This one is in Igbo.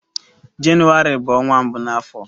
Jenụwarị bụ ọnwa mbụ na afọ.